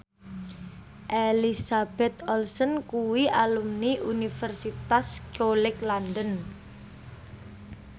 Elizabeth Olsen kuwi alumni Universitas College London